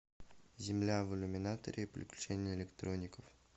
земля в иллюминаторе приключения электроников